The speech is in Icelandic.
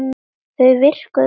Þau virkuðu bara ekki.